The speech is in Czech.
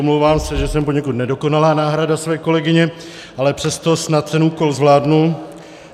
Omlouvám se, že jsem poněkud nedokonalá náhrada své kolegyně, ale přesto snad ten úkol zvládnu.